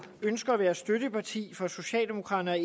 ønsker at være støtteparti for socialdemokraterne og